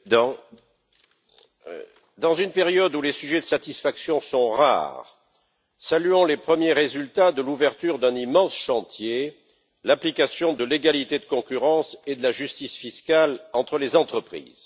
Monsieur le Président, en une période où les sujets de satisfaction sont rares, saluons les premiers résultats de l'ouverture d'un immense chantier l'application de l'égalité de concurrence et de la justice fiscale entre les entreprises.